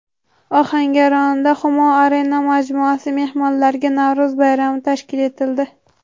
Ohangaronda Humo Arena majmuasi mehmonlariga Navro‘z bayrami tashkil etildi .